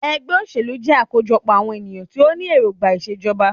Ẹgbẹ́ òṣèlú jẹ́ àkójọpọ̀ àwọn ènìyàn tí o ní èròngbà ìṣèjọba.